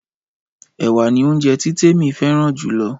Ẹ̀wà ni óunjẹ tí Temi fẹ́ràn jù lọ